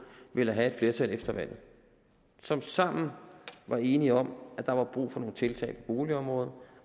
ville have et flertal efter valget og som sammen var enige om at der var brug for nogle tiltag boligområdet